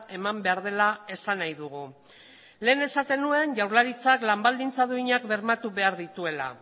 eman behar dela esan nahi dugu lehen esaten nuen jaurlaritzak lan baldintza duinak bermatu behar dituela